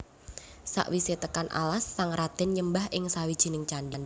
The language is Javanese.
Sakwisé tekan alas sang radén nyembah ing sawijining candhi